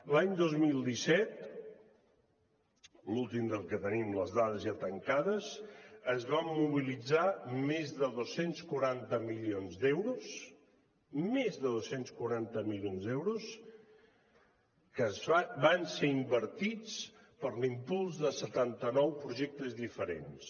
l’any dos mil disset l’últim del que tenim les dades ja tancades es van mobilitzar més de dos cents i quaranta milions d’euros més de dos cents i quaranta milions d’euros que van ser invertits per a l’impuls de setanta nou projectes diferents